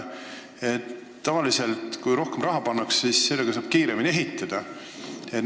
Tavaliselt on nii, et kui rohkem raha pannakse, siis saab ka kiiremini ehitada.